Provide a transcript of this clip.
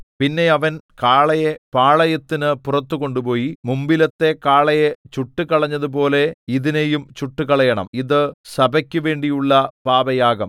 പിന്നെ അവൻ കാളയെ പാളയത്തിനു പുറത്തുകൊണ്ടുപോയി മുമ്പിലത്തെ കാളയെ ചുട്ടുകളഞ്ഞതുപോലെ ഇതിനെയും ചുട്ടുകളയണം ഇതു സഭയ്ക്കുവേണ്ടിയുള്ള പാപയാഗം